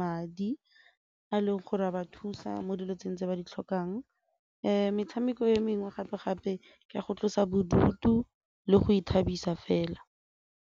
madi a leng gore a ba thusa mo dilong tse ba di tlhokang metshameko e mengwe gape-gape ka go tlosa bodutu le go ithabisa fela.